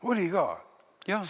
Oli ka?